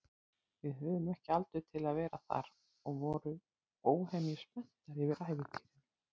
Við höfðum ekki aldur til að vera þar og vorum óhemju spenntar yfir ævintýrinu.